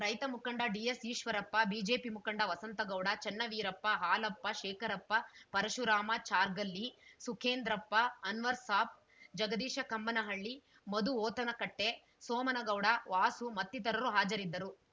ರೈತ ಮುಖಂಡ D S Eshwarappa BJP ಮುಖಂಡ ವಸಂತಗೌಡ ಚನ್ನವೀರಪ್ಪ ಹಾಲಪ್ಪ ಶೇಖರಪ್ಪ ಪರಶುರಾಮ ಚಾರ್ಗಲ್ಲಿ ಸುಕೇಂದ್ರಪ್ಪ ಅನ್ವರ್‌ಸಾಬ್‌ ಜಗದೀಶ ಕಮ್ಮನಹಳ್ಳಿ ಮಧು ಹೋತನಕಟ್ಟೆ ಸೋಮನಗೌಡ ವಾಸು ಮತ್ತಿತರರು ಹಾಜರಿದ್ದರು